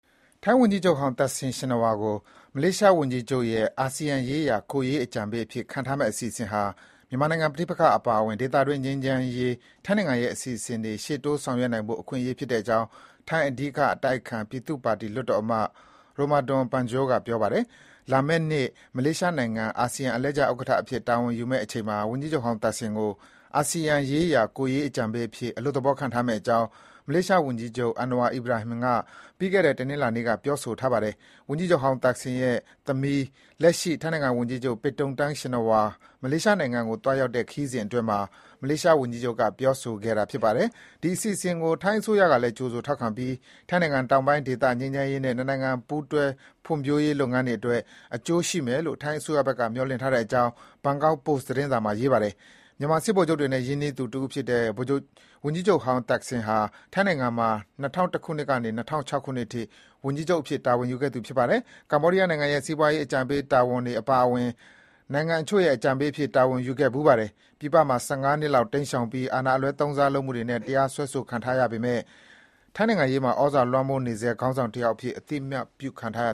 ထိုင်းဝန်ကြီးချုပ်ဟောင်း Thaksin Shinawatra ကို မလေးရှားဝန်ကြီးချုပ်ရဲ့ အာဆီယံရေးရာ ကိုယ်ရေး အကြံပေးအဖြစ် ခန့်ထားမယ့်အစီအစဉ်ဟာ မြန်မာနိုင်ငံ ပဋိပက္ခအပါအဝင် ဒေသတွင်း ငြိမ်းချမ်းရေး ထိုင်းနိုင်ငံရဲ့ အစီအစဉ်တွေ ရှေ့တိုးဆောင်ရွက်နိုင်ဖို့ အခွင့်အရေး ဖြစ်တဲ့အကြောင်း ထိုင်း အဓိကအတိုက်အခံ ပြည်သူ့ပါတီ လွှတ်တော်အမတ် Romadon Panjor က ပြောဆိုပါတယ်။ လာမယ့်နှစ် မလေးရှားနိုင်ငံ အာဆီယံ အလှည့်ကျ ဥက္ကဋ္ဌအဖြစ် တာဝန်ယူမယ့်အချိန်မှာ ဝန်ကြီးချုပ်ဟောင်း Thaksin ကို အာဆီယံရေးရာ ကိုယ်ရေး အကြံပေးအဖြစ် အလွတ်သဘော ခန့်ထားမယ့်အကြောင်း မလေးရှား ဝန်ကြီးချုပ် Anwar Ibrahim က ပြီးခဲ့တဲ့ တနင်္လာနေ့က ပြောဆိုထားပါတယ်။ ဝန်ကြီးချုပ်ဟောင်း Thaksin ရဲ့ သမီး လက်ရှိ ထိုင်းနိုင်ငံ ဝန်ကြီးချုပ် Paetongtarn Shinawatra မလေးရှားနိုင်ငံကို သွားရောက်တဲ့ ခရီးစဉ်အတွင်းမှာ မလေးရှားဝန်ကြီးချုပ်က ပြောဆိုခဲ့တာဖြစ်ပါတယ်။ ဒီအစီစဉ်ကို ထိုင်းအစိုးရကလည်း ကြိုဆိုထောက်ခံပြီး ထိုင်းတောင်ပိုင်းဒေသ ငြိမ်းချမ်းရေးနဲ့ နှစ်နိုင်ငံ ပူးတွဲ ဖွံ့ဖြိုးရေးလုပ်ငန်းတွေအတွက် အကျိုးရှိမယ်လို့ ထိုင်းအစိုးရဘက်က မျှော်လင့်ထား တဲ့အကြောင်း ဘန်ကောက်ပို့စ်သတင်းစာမှာ ရေးသားပါတယ်။ မြန်မာစစ်ဗိုလ်ချုပ်တွေနဲ့ ရင်းနှီးသူ တဦးဖြစ်တဲ့ ဝန်ကြီးချုပ်ဟောင်း တက်ခ်ဆင်ဟာ ထိုင်းနိုင်ငံမှာ ၂၀၀၁ ခုနှစ်ကနေ ၂၀၀၆ ခုနစ်အထိ ဝန်ကြီးချုပ် တာဝန်ယူခဲ့သူဖြစ်ပါတယ်။ ကမ္ဘောဒီးယားနိုင်ငံရဲ့ စီးပွားရေးအကြံပေး တာဝန်အပါအဝင် နိုင်ငံတချို့ရဲ့ အကြံပေးအဖြစ် တာဝန်ယူခဲ့ဖူးပါတယ်။ ပြည်ပမှာ ၁၅ နှစ်လောက်တိမ်းရှောင်ပြီး အာဏာအလွဲသုံးစားလုပ်မှုတွေနဲ့ တရားစွဲဆိုခံခဲ့ရပေမဲ့ ထိုင်းနိုင်ငံရေးမှာ ဩဇာလွှမ်းမိုးနေဆဲ ခေါင်းဆောင်တယောက်အဖြစ် အသိအမှတ်ပြုခံထားရ